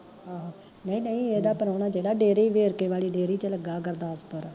ਆਹੋ, ਨਈਂ ਨਈਂ ਏਦਾ ਪ੍ਰਾਹੁਣਾ ਜੇੜਾ ਡੇਰੇ ਈ ਵੇਰਕੇ ਵਾਲੀ ਡੇਰੀ ਚ ਲੱਗਾ ਗੁਰਦਾਸਪੁਰ